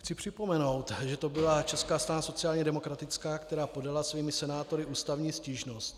Chci připomenout, že to byla Česká strana sociálně demokratická, která podala svými senátory ústavní stížnost.